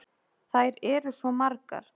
Þær eru svo margar.